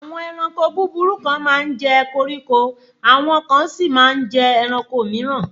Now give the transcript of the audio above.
Àwọn ẹranko búburú kan máa ń jẹ koríko, àwọn kan sí máa ń jẹ ẹranko mìíràn